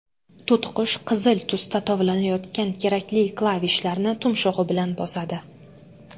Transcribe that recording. To‘tiqush qizil tusda tovlanayotgan kerakli klavishlarni tumshug‘i bilan bosadi.